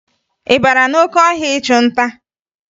Ị bara n'oke ọhịa ịchụ nta?